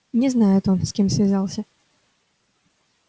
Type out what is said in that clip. не знает он с кем связался